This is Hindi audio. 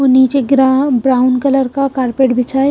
और नीचे गिरा ब्राउन कलर का कारपेट बिछा है।